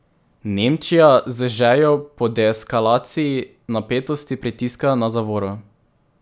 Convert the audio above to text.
Nemčija z željo po deeskalaciji napetosti pritiska na zavoro.